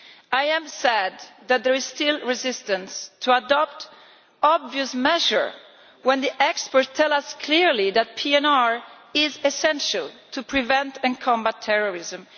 I am sad that there is still resistance to adopting obvious measures when the experts tell us clearly that PNR is essential to prevent and combat terrorism.